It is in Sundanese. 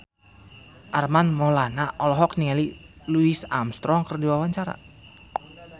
Armand Maulana olohok ningali Louis Armstrong keur diwawancara